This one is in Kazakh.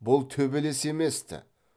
бұл төбелес емес ті